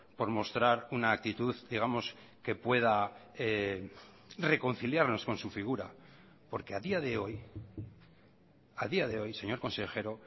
por mostrar una actitud digamos que pueda reconciliarnos con su figura porque a día de hoy a día de hoy señor consejero